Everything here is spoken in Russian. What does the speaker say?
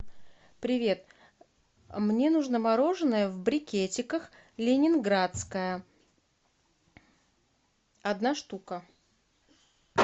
привет мне нужно мороженое в брикетиках ленинградское одна штука